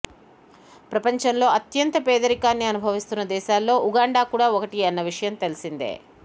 ప్రపంచంలో అత్యంత పేదరికాన్ని అనుభవిస్తున్న దేశాల్లో ఉగాండా కూడా ఒకటి అన్న విషయం తెలిసిందే